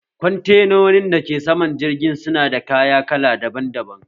Kwantenonin dake saman jirgin su na da kaya kala daban daban